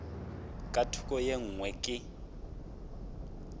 ka thoko ye nngwe ke